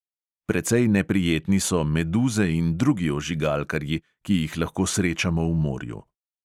Precej neprijetni so meduze in drugi ožigalkarji, ki jih lahko srečamo v morju.